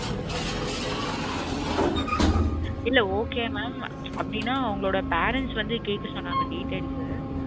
Okay mam இல்ல okay mam அப்டினா அவங்கலோட parents வந்து கேக்க சொன்னாங்க details